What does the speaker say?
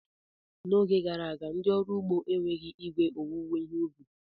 N'oge gara aga, ndị ọrụ ugbo enweghị igwe owuwe ihe ubi.